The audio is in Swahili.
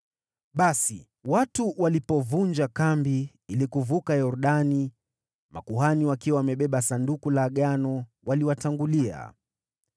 Basi, watu walipovunja kambi ili kuvuka Yordani, makuhani wakiwa wamebeba Sanduku la Agano waliwatangulia.